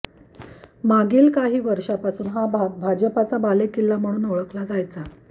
मागील काही वर्षापासून हा भाग भाजपाचा बालेकिल्ला म्हणून ओळखला जायचा